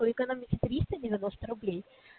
то экономите триста девяносто рублей